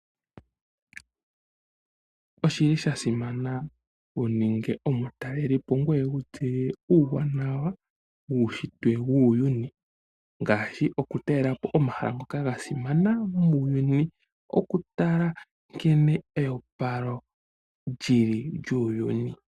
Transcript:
Oshili sha simana omutaleli wu tseye uuwanawa wuunshitwe wuuyuni ngaashi oku talela po omahala ngoka ga simana muuyuni, oku tala nkene eyopalo lyili lyuuyuni.